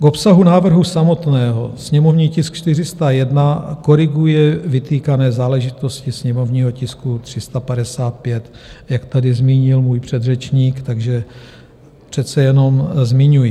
K obsahu návrhu samotného: sněmovní tisk 401 koriguje vytýkané záležitosti sněmovního tisku 355, jak tady zmínil můj předřečník, takže přece jenom zmiňuji.